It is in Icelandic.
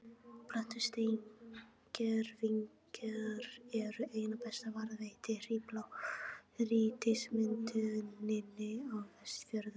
Plöntusteingervingar eru einna best varðveittir í blágrýtismynduninni á Vestfjörðum.